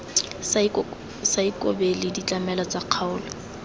sa ikobele ditlamelo tsa kgaolo